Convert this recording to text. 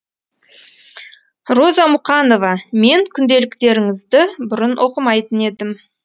роза мұқанова мен күнделіктеріңізді бұрын оқымайтын едім